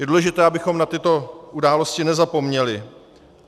Je důležité, abychom na tyto události nezapomněli.